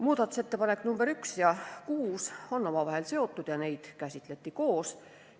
Muudatusettepanekud nr 1 ja 6 on omavahel seotud ja neid käsitleti koos.